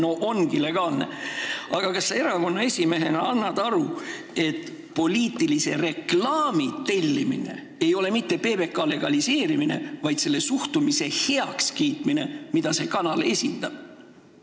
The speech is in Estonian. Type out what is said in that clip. Nii ongi, aga kas sa erakonna esimehena annad aru, et PBK-lt poliitilise reklaami tellimine ei ole mitte tema legaliseerimine, vaid selle suhtumise heakskiitmine, mida see kanal esindab?